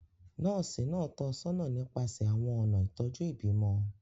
Nọ́ọ̀sì náà tọ́ ọ sọ́nà nípasẹ̀ àwọn ọ̀nà ìtọ́jú ìbímọ.